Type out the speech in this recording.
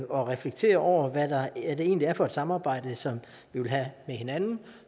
og reflektere over hvad det egentlig er for et samarbejde som vi vil have med hinanden